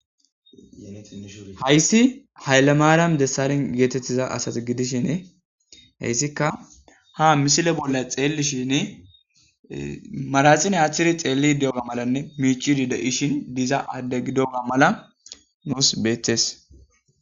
Hayssi haylle maaran dessarin geetettiza asati gidishinee heyssikka ha misile bolla xeelishin marasine aachiri xeeli di7oga malanne miicidi de7ishin diza adde gidoma mala nuus beetes.